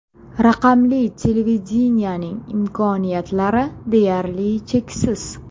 Raqamli televideniyening imkoniyatlari deyarli cheksiz.